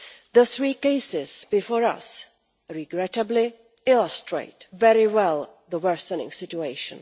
The three cases before us regrettably illustrate very well the worsening situation.